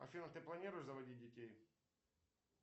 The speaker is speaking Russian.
афина ты планируешь заводить детей